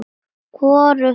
Hvorugt gekk eftir.